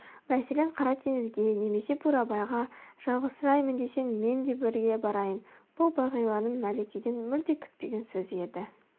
мәселен қара теңізге немесе бурабайға жалғызсыраймын десең мен де бірге барайын бұл бағиланың мәликеден мүлде күтпеген сөзі еді